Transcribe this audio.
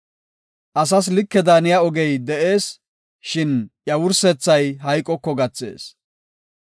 Asas like daaniya ogey de7ees; shin iya wursethay hayqoko gathees.